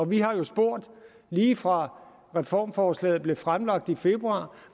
vi har jo spurgt lige fra reformforslaget blev fremlagt i februar